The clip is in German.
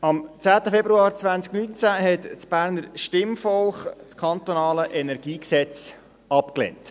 Am 10. Februar 2019 lehnte das Berner Stimmvolk das Kantonale Energiegesetz (KEnG) ab.